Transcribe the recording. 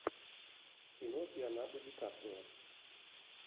кино с леонардо ди каприо